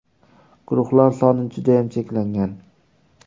Guruhlar soni judayam cheklangan !